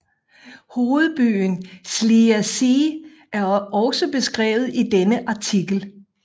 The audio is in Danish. Hovedbyen Schliersee er også beskrevet i denne artikel